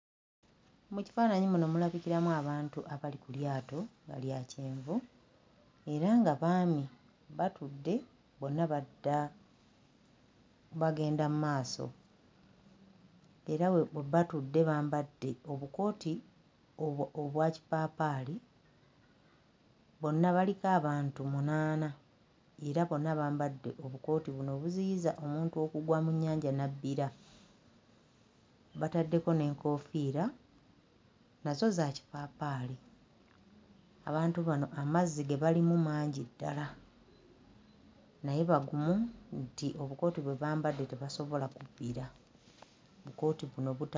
Mu kifaananyi muno mulabikiramu abantu abali ku lyato nga lya kyenvu era nga baami, batudde bonna badda bagenda mu maaso era bwe batudde bambadde obukooti obwa kipaapaali. Bonna baliko abantu munaana era bonna bambadde obukooti buno obuziyiza omuntu okugwa mu nnyanja n'abbira, bataddeko n'enkoofiira nazo za kipaapaali. Abantu bano amazzi ge balimu mangi ddala naye bagumu nti obukooti bwe bambadde tebasobola kubbira. Obukooti buno buta....